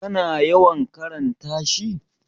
kana yawan karanta shi?